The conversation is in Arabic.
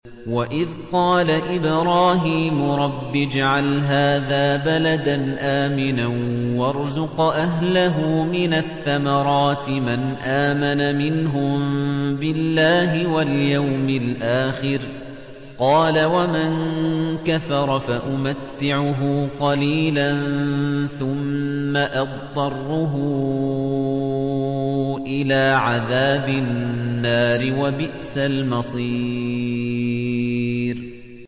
وَإِذْ قَالَ إِبْرَاهِيمُ رَبِّ اجْعَلْ هَٰذَا بَلَدًا آمِنًا وَارْزُقْ أَهْلَهُ مِنَ الثَّمَرَاتِ مَنْ آمَنَ مِنْهُم بِاللَّهِ وَالْيَوْمِ الْآخِرِ ۖ قَالَ وَمَن كَفَرَ فَأُمَتِّعُهُ قَلِيلًا ثُمَّ أَضْطَرُّهُ إِلَىٰ عَذَابِ النَّارِ ۖ وَبِئْسَ الْمَصِيرُ